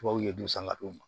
Tubabuw ye du san ka d'u ma